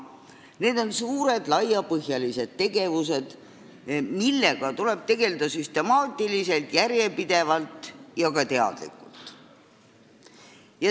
Need on suured laiapõhjalised tegevused, millega tuleb tegelda süstemaatiliselt, järjepidevalt ja ka teadlikult.